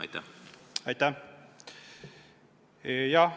Aitäh!